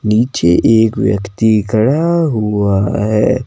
नीचे एक व्यक्ति खड़ा हुआ है।